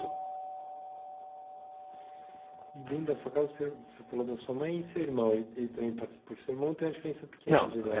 E dentro da sua casa, você você falou da sua mãe e seu irmão, ele ele também participou, porque seu irmão tem uma diferença pequena de idade.